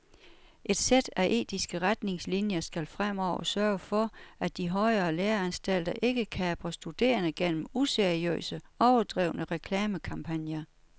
Et sæt af etiske retningslinier skal fremover sørge for, at de højere læreanstalter ikke kaprer studerende gennem useriøse, overdrevne reklamekampagner.